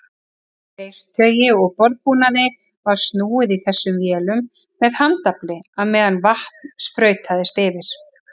Leirtaui og borðbúnaði var snúið í þessum vélum með handafli á meðan vatn sprautaðist yfir.